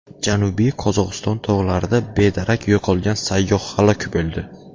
Janubiy Qozog‘iston tog‘larida bedarak yo‘qolgan sayyoh halok bo‘ldi.